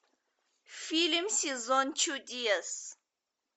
фильм сезон чудес